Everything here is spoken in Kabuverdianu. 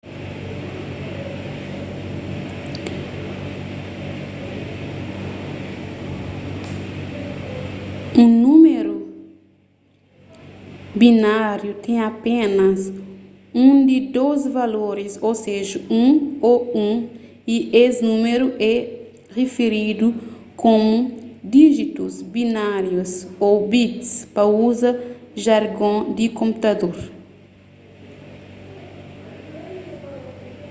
un númeru bináriu ten apénas un di dôs valoris ô seja 1 ô 1 y es númeru é riferidu komu díjitus binárius ô bits pa uza jargon di konputador